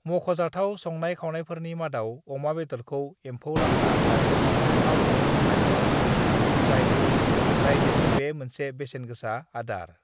"मख'जाथाव संनाय-खावनायफोरनि मादाव अमा बेदरखौ एम्फौ लाथा आरो साम'जों संनाय दं, जायनाखि रायजोनि बे मोनसे बेसेनगोसा आदार।"